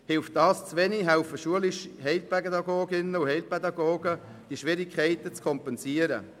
Hilft das zu wenig, helfen schulische Heilpädagoginnen und Heilpädagogen, die Schwierigkeiten zu kompensieren.